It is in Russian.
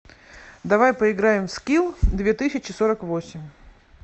давай поиграем в скил две тысячи сорок восемь